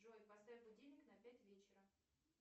джой поставь будильник на пять вечера